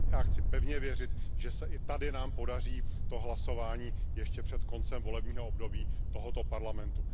Já chci pevně věřit, že se i tady nám podaří to hlasování ještě před koncem volebního období tohoto Parlamentu.